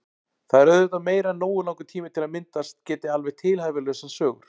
Það er auðvitað meira en nógu langur tími til að myndast geti alveg tilhæfulausar sögur.